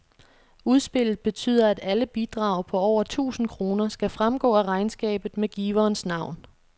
Udspillet betyder, at alle bidrag på over tusind kroner skal fremgå af regnskabet med giverens navn.